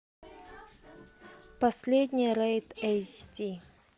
последний рейд эйч ди